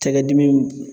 Cakɛ dimi